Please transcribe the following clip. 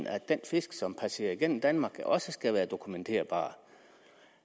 at den fisk som passerer igennem danmark også skal være dokumenterbar